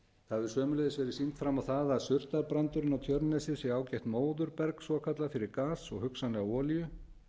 það hefur sömuleiðis verið sýnt fram á það að surtarbrandurinn á tjörnesi sé ágætt móðurberg svokallað fyrir gas og hugsanlega olíu